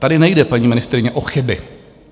Tady nejde, paní ministryně, o chyby.